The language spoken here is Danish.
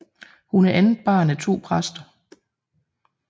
Hun er andet barn af to præster